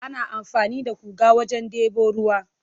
Ana amfani da guga wajen debo ruwa.